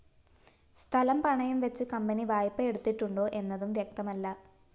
സ്ഥലം പണയംവെച്ച് കമ്പനി വായ്പ എടുത്തിട്ടുണ്ടോ എന്നതും വ്യക്തമല്ല